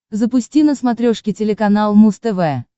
запусти на смотрешке телеканал муз тв